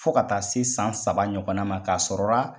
Fo ka taa se san saba ɲɔgɔnna ma k'a sɔrɔra